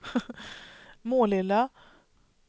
Målilla